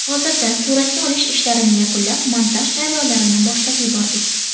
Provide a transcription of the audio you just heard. Hozirda suratga olish ishlarini yakunlab, montaj jarayonlarini boshlab yubordik.